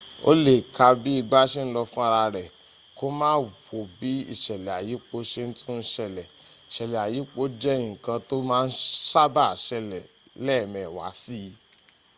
o le ka bi igba se n lo fun ara re ko maa wo bi isele ayipo se tun sele isele ayipo je nkan to ma n saba sele leemewa si